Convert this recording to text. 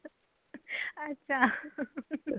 ਅੱਛਾ